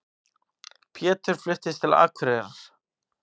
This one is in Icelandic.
Pétur fluttist til Akureyrar.